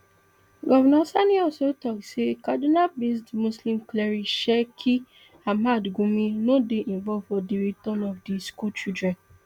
govnor sani also tok say kadunabased muslim cleric sheikh ahmad gumi no dey involved for di return of di schoolchildren